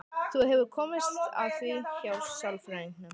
Þú hefur komist að því hjá sálfræðingnum?